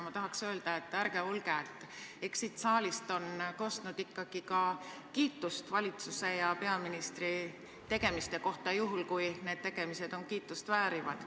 Ma tahaks öelda, et ärge olge solvunud, eks siit saalist on kostnud ikkagi ka kiitust valitsuse ja peaministri tegemiste kohta, juhul kui need tegemised kiitust väärivad.